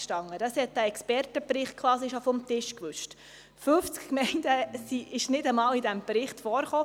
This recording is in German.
Diese Variante wurde quasi schon vom Expertenbericht vom Tisch gewischt und kam nicht einmal mehr in diesem Bericht vor.